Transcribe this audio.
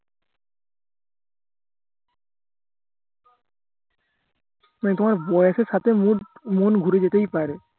হ্যা তোমার বয়সের সাথে mood মন ঘুরে যেতেই পারে